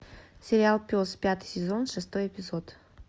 сериал пес пятый сезон шестой эпизод